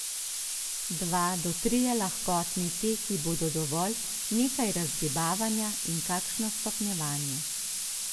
Dva do trije lahkotni teki bodo dovolj, nekaj razgibavanja in kakšno stopnjevanje.